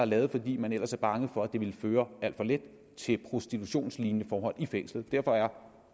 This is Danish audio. lavet fordi man ellers er bange for at det vil føre til prostitutionslignende forhold i fængslet derfor